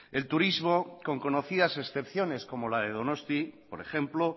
el turismo con conocidas excepciones como la de donosti por ejemplo